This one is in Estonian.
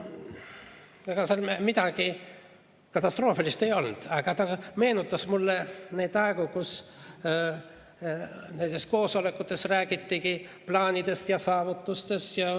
Ega seal midagi katastroofilist ei olnud, aga ta meenutas mulle neid aegu, kui koosolekutel räägiti plaanidest ja saavutustest.